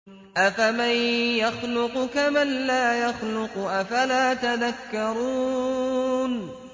أَفَمَن يَخْلُقُ كَمَن لَّا يَخْلُقُ ۗ أَفَلَا تَذَكَّرُونَ